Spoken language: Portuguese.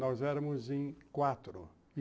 Nós éramos em quatro.